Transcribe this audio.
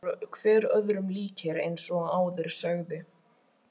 Þeir voru hver öðrum líkir eins og áður sagði.